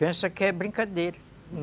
Pensam que é brincadeira.